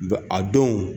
Ba a don